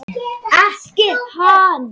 Ekki hans.